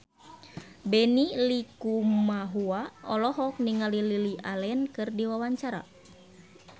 Benny Likumahua olohok ningali Lily Allen keur diwawancara